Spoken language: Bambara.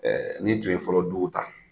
n'i tun fɔlɔ duw ta,